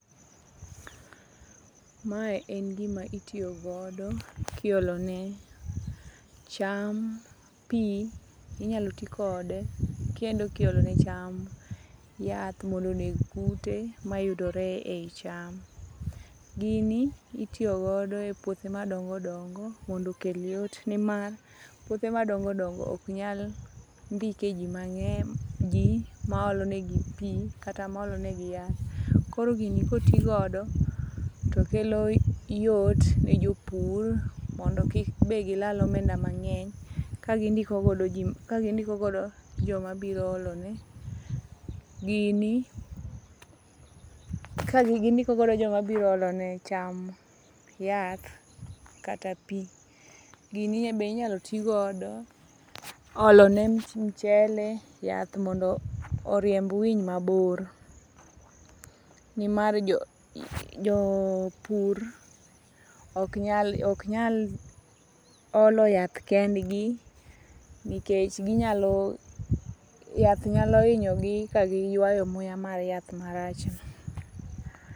Mae en gima itiyogodo kiolone cham pi. Inyalo ti kode kendo kiolone cham yath mondo oneg kute mayudore ei cham. Gini itiyogodo e puothe madongo dongo mondo okel yot nimar puothe madongo dongo oknyal ndike ji maolonegi pi kata maolonegi yath. Koro gini kotigodo tokelo yot ne jopur mondo kik be gilal omenda mang'eny kagindikogodo jomabiro olone, gini kagindikogodo joma biro olone cham yath kata pi. Gini be inyalo ti godo olone mchele yath mondo orimb winy mabor. Nimar jopur ok nyal olo yath kendgi nikech yath nyalo hinyogi ka giywayo muya mar yath marachno.